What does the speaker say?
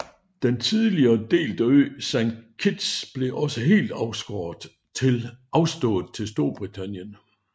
Den tidligere delte ø Saint Kitts blev også helt afstået til Storbritannien